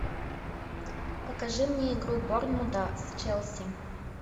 покажи мне игру борнмута с челси